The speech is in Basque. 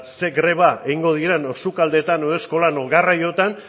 ze greba egingo diren edo sukaldeetan edo eskolan edo garraioetan